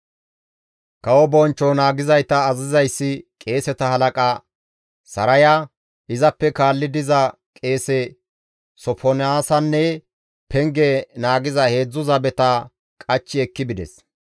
Kawo bonchcho naagizayta azazizayssi qeeseta halaqa Saraya, izappe kaalli diza qeese Sofonaasanne penge naagiza 3 zabeta qachchi ekki bides.